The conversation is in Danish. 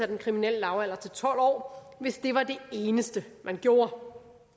den kriminelle lavalder til tolv år hvis det var det eneste man gjorde